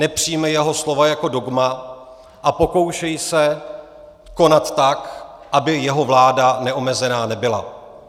Nepřijímej jeho slova jako dogma a pokoušej se konat tak, aby jeho vláda neomezená nebyla.